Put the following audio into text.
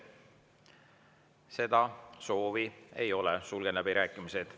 Seda soovi ei ole, sulgen läbirääkimised.